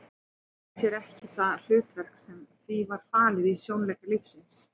Það kaus sér ekki það hlutverk sem því var falið í sjónleik lífsins.